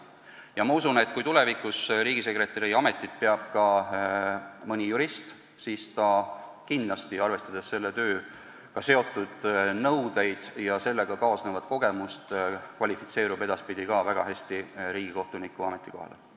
Ja ma usun, et kui tulevikus riigisekretäri ametit peab ka mõni jurist, siis ta kindlasti, arvestades selle tööga seotud nõudeid ja sellega kaasnevat kogemust, kvalifitseerub edaspidi väga hästi ka riigikohtuniku ametikohale.